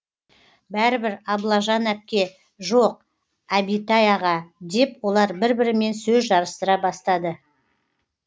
бәрібір аблажан әпке жоқ әбитай аға деп олар бір бірімен сөз жарыстыра бастады